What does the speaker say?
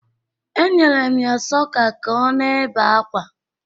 E nyere m ya sọka ka o na-ebe akwa.